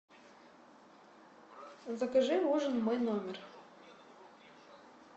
закажи ужин в мой номер